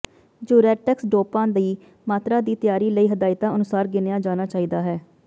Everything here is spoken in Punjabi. ਜੂਰੇਟ੍ਕਸ ਡੌਪਾਂ ਦੀ ਮਾਤਰਾ ਦੀ ਤਿਆਰੀ ਲਈ ਹਦਾਇਤਾਂ ਅਨੁਸਾਰ ਗਿਣਿਆ ਜਾਣਾ ਚਾਹੀਦਾ ਹੈ